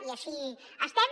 i així estem